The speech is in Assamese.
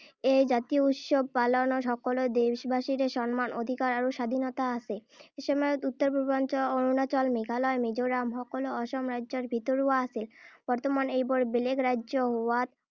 এই জাতীয় উৎসৱ পালনত সকলো দেশবাসীৰে সন্মান অধিকাৰ আৰু স্বাধীনতা আছে। এসময়ত উত্তৰ-পূৰ্বাঞ্চল অৰুণাচল, মেঘালয়, মিজোৰাম সকলো অসম ৰাজ্যৰ ভিতৰুৱা আছিল। বৰ্তমান এইবোৰ বেলেগ ৰাজ্য হোৱাত